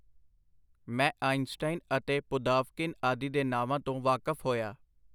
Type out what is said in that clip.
ਮੈਂ ਆਈਜ਼ਨਸਟਾਈਨ ਅਤੇ ਪੁਦਾਵਕਿਨ ਆਦਿ ਦੇ ਨਾਵਾਂ ਤੋਂ ਵਾਕਫ ਹੋਇਆ.